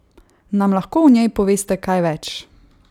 Nam lahko o njej poveste kaj več?